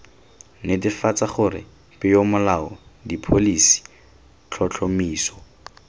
netefatsa gore peomolao dipholisi tlhotlhomiso